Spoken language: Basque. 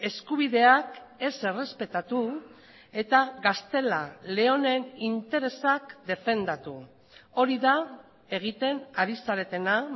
eskubideak ez errespetatu eta gaztela leonen interesak defendatu hori da egiten ari zaretena